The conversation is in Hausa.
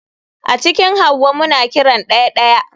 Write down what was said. A cikin hauwa muna kiran daya (daya)